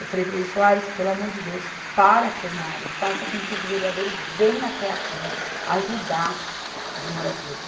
Eu falei para ele, Soares, pelo amor de Deus, para a plenária, faça com que os vereadores venham até aqui ajudar os moradores.